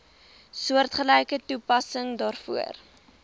soortgelyke toepassing daarvoor